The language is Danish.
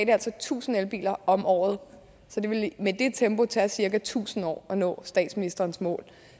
det altså tusind elbiler om året så det ville med det tempo tage cirka tusind år at nå statsministerens mål